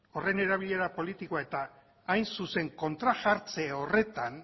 horren erabilera politikoa eta hain zuzen kontrajartze horretan